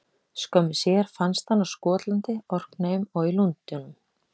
Skömmu síðar fannst hann á Skotlandi, Orkneyjum og í Lundúnum.